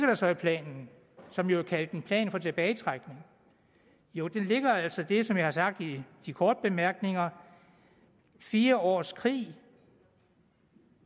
der så i planen som jo er kaldt en plan for tilbagetrækning jo der ligger altså det som jeg har sagt i de korte bemærkninger fire års krig